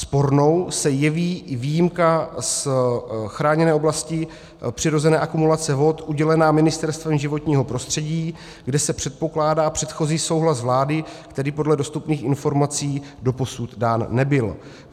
Spornou se jeví i výjimka z chráněné oblasti přirozené akumulace vod udělená Ministerstvem životního prostředí, kde se předpokládá předchozí souhlas vlády, který podle dostupných informací doposud dán nebyl.